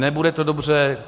Nebude to dobře.